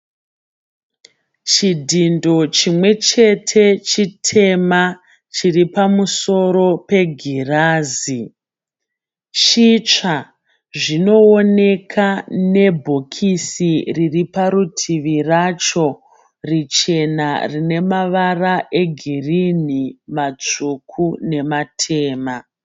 Chidhindo chimwechete chitema chiripamusoro pegirazi, chitsva zvinooneka nebhokisi ririparutivi racho richena rinemavara egirini matsvuku nematema.